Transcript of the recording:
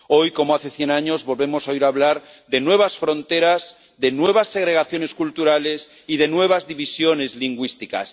Hoy, como hace cien años, volvemos a oír hablar de nuevas fronteras, de nuevas segregaciones culturales y de nuevas divisiones lingüísticas.